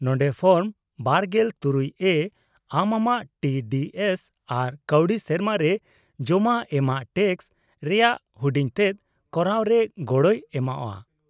-ᱱᱚᱸᱰᱮ ᱯᱷᱚᱨᱢ ᱒᱖ᱮ ᱟᱢ ᱟᱢᱟᱜ ᱴᱤ ᱰᱤ ᱮᱥ ᱟᱨ ᱠᱟᱹᱣᱰᱤ ᱥᱮᱨᱢᱟ ᱨᱮ ᱡᱚᱢᱟ ᱮᱢᱟᱜ ᱴᱮᱠᱥ ᱨᱮᱭᱟᱜ ᱦᱩᱰᱤᱧᱛᱮᱫ ᱠᱚᱨᱟᱣ ᱨᱮ ᱜᱚᱲᱚᱭ ᱮᱢᱚᱜᱼᱟ ᱾